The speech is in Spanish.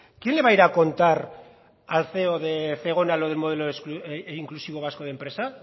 quién le va a ir a contar al ceo de zegona lo del modelo inclusivo vasco de empresa